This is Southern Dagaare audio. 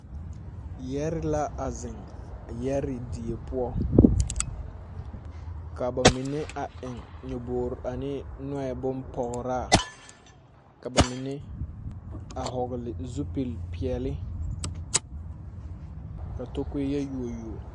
Yɛɛre la a zeŋ yɛɛre die poɔ ka bamine a eŋ nyɔboore ane nɔɛ bompɔgraa ka bamine a hɔgli zupilpeɛli ka takoɛ yɛ yuo yuo.